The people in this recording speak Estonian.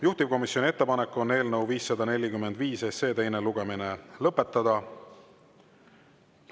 Juhtivkomisjoni ettepanek on eelnõu 545 teine lugemine lõpetada.